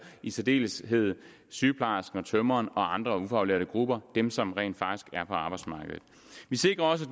i særdeleshed sygeplejersken og tømreren og andre ufaglærte grupper dem som rent faktisk er på arbejdsmarkedet vi sikrer også